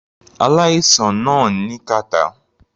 Aláìsàn náà ní kàtá.